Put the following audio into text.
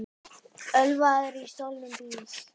Ölvaður á stolnum bíl